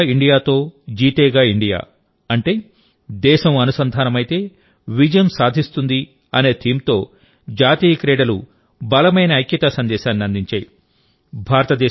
జుడేగా India తో జీతేగా India అంటే దేశం అనుసంధానమైతే విజయం సాధిస్తుంది అనే థీమ్తోజాతీయ క్రీడలు బలమైన ఐక్యతా సందేశాన్ని అందించాయి